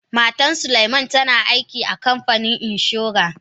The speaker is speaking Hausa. Matan suleiman tana aiki a kanfanin inshora.